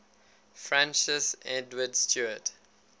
francis edward stuart